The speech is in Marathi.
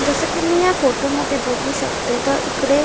जस की मी या फोटोमध्ये बघू शकते तर इकडे--